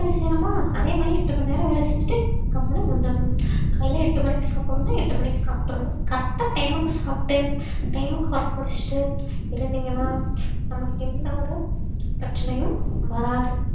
வேலை செய்யறோமா அதே மாதிரி எட்டு மணி நேரம் வேலை செஞ்சுட்டு கம்முன்னு வந்துடணும் காலையில எட்டு மணிக்கு சாப்பிடணும்ன்னா எட்டு மணிக்கு சாப்பிட்டறணும் correct ஆ time க்கு சாப்பிட்டு time க்கு work முடிச்சிட்டு இருந்தீங்கன்னா நமக்கு எந்த ஒரு பிரச்சனையும் வராது